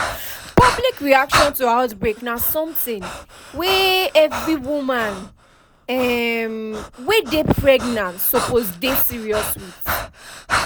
public reaction to outbreak na something wey every woman um wey dey pregnant suppose dey serious with